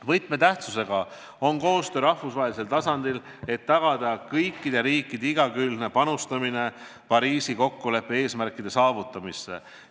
Võtmetähtsusega on koostöö rahvusvahelisel tasandil, et tagada kõikide riikide igakülgne panustamine Pariisi kokkuleppe eesmärkide saavutamisse.